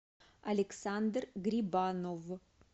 александр грибанов